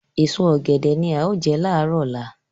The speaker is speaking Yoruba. Èso ọ̀gẹ̀dẹ̀ ni a ó jẹ láàárọ̀ ọ̀la